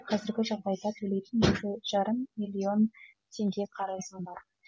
қазіргі жағдайда төлейтін екі жарым миллион теңге қарызым бар